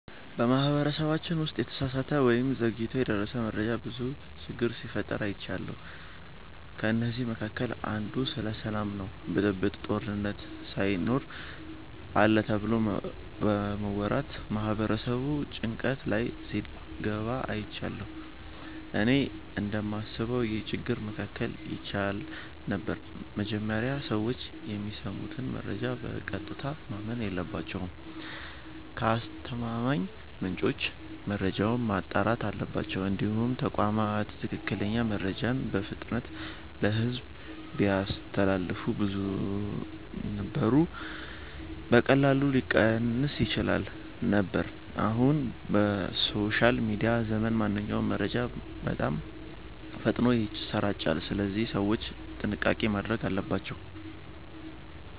በማህበረሰባችን ውስጥ የተሳሳተ ወይም ዘግይቶ የደረሰ መረጃ ብዙ ጊዜ ችግር ሲፈጥር አይቻለሁ። ከእነዚህ መካከል አንዱ ስለ ሰላም ነው ብጥብጥ፣ ጦርነት ሳይኖር አለ ተብሎ በመወራት ማህበረሰቡ ጭንቀት ላይ ሲገባ አይቻለሁ። እኔ እንደማስበው ይህ ችግር መከላከል ይቻል ነበር። መጀመሪያ ሰዎች የሚሰሙትን መረጃ በቀጥታ ማመን የለባቸውም። ከአስተማማኝ ምንጭ መረጃውን ማጣራት አለባቸው። እንዲሁም ተቋማት ትክክለኛ መረጃን በፍጥነት ለሕዝብ ቢያስተላልፉ ውዥንብሩ በቀላሉ ሊቀንስ ይችል ነበር። አሁን በሶሻል ሚዲያ ዘመን ማንኛውም መረጃ በጣም ፈጥኖ ይሰራጫል፣ ስለዚህ ሰዎች ጥንቃቄ ማድረግ አለባቸው።